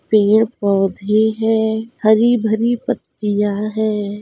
पेड़ पौधे है हरी भरी पत्तिया है।